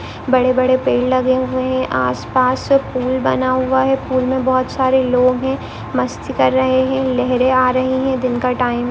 बडे बडे पेड लगे हुए हैं आस-पास पूल बना हुआ है पूल मे बहुत सारे लोग है मस्ती कर रहे है लहरे आ रही है। दिन का टाइम --